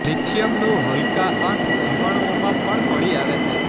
લિથિયમનું હલકા અંશ જીવાણુઓમાં પણ મળી આવે છે